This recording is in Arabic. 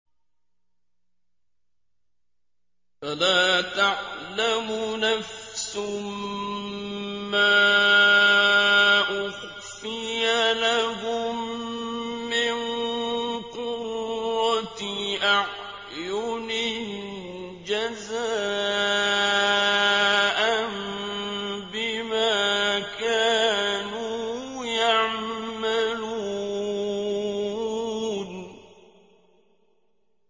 فَلَا تَعْلَمُ نَفْسٌ مَّا أُخْفِيَ لَهُم مِّن قُرَّةِ أَعْيُنٍ جَزَاءً بِمَا كَانُوا يَعْمَلُونَ